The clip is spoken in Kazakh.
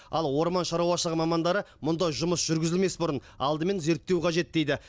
ал орман шаруашылығы мамандары мұндай жұмыс жүргізілмес бұрын алдымен зерттеу қажет дейді